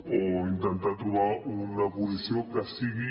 o intentar trobar una posició que sigui